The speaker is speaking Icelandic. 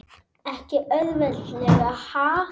Ekki auðvelt ha?